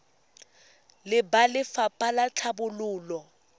le ba lefapha la tlhabololo